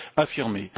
affirmés.